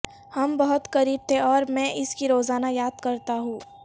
ہم بہت قریب تھے اور میں اس کی روزانہ یاد کرتا ہوں